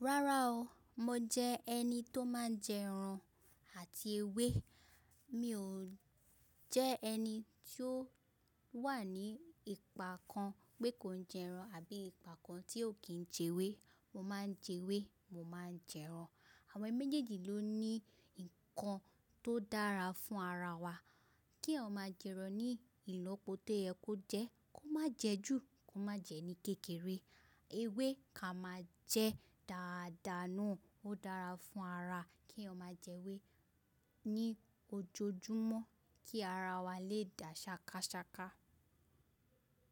Rárá o, mo jẹ ẹni tó máa ń jẹ ẹran àti ewé. Mi ò jẹ́ ẹni tí ó wà ní ipa kan pé kò ń jẹ ẹran àbí ipa kan tí ò kíń jẹ ewé. Mo máa ń jẹ ewé, mo máa ń jẹ ẹran. Àwọn méjèèjì ló ní nǹkan tó dára fún ara wa. Kí eyan jẹ ẹran ní ìlọ́po tó yẹ kó jẹ́, kó má jẹ jù, kó má jẹ ní kékeré. Ewé ká má jẹ́ dàadaa na, ó dára fún ara kí eyan ma jẹ ewé ní ojojúmọ́ kí ara wa lè dà ṣakásáká.